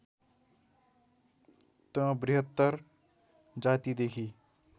त बृहत्तर जातिदेखि